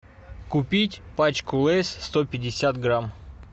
купить пачку лейс сто пятьдесят грамм